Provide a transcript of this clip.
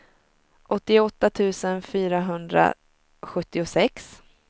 åttioåtta tusen fyrahundrasjuttiosex